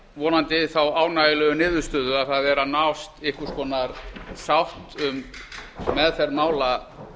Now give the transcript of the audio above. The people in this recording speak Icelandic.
vonandi þá ánægjulegu niðurstöðu að það sé að nást einhvers konar sátt um meðferð mála